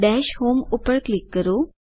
દશ હોમ ઉપર ક્લિક કરો